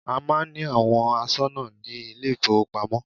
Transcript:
A máà ń ní àwọn aṣọ́nà ní ilé ìfọwọ́pamo.